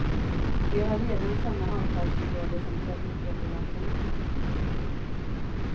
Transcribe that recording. De har redan samma avtalsområde som trafikövervakarna.